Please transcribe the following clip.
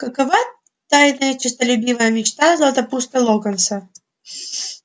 какова тайная честолюбивая мечта златопуста локонса